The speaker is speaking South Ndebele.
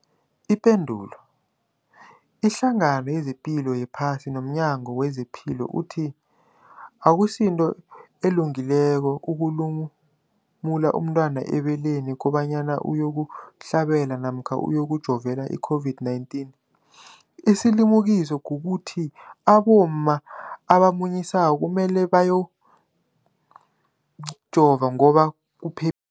Ipendulo, iHlangano yezePilo yePhasi nomNyango wezePilo ithi akusinto elungileko ukulumula umntwana ebeleni kobanyana uyokuhlabela namkha uyokujovela i-COVID-19. Isilimukiso kukuthi abomma abamunyisako kumele bajove ngoba kuphe